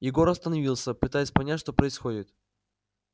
егор остановился пытаясь понять что происходит